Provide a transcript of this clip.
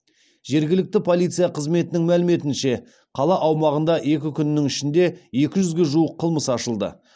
жергілікті полиция қызметінің мәліметінше қала аумағында екі күннің ішінде екі жүзге жуық қылмыс ашылды